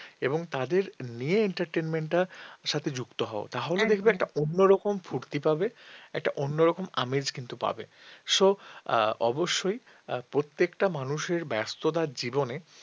একটা অন্যরকম ফুর্তি পাবে একটা অন্যরকম আমেজ কিন্তু পাবে so অবশ্যই প্রত্যেকটা মানুষের ব্যস্ততার জীবনে